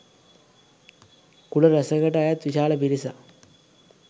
කුල රැසකට අයත් විශාල පිරිසක්